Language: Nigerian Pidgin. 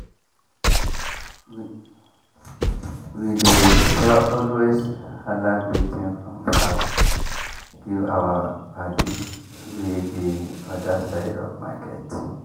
we dey always hala greeting from far give our paddies wey dey other side of market.